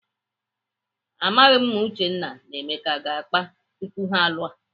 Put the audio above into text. Amaghị m ma Uchenna na Emeka aga akpa tupu ha alụọ.